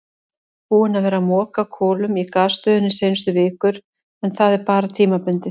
Búinn að vera að moka kolum í gasstöðinni seinustu vikur en það er bara tímabundið.